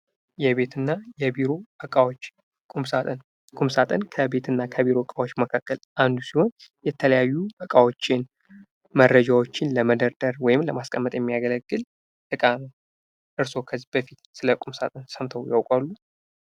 የቤትና የቢሮ ዕቃዎች ቁምሳጥን ቁምሳጥን ከቤት እና ከቢሮ እቃዎች መካከል አንዱ ሲሆን ፤ የተለያዩ ዕቃዎችን መረጃዎችን ለመደርደር ወይም ለማስቀመጥ የሚያገለግል እቃ ነው። እርስዎ ከዚህ በፊት ስለ ቁምሳጥን ሰምተው ያውቃሉ?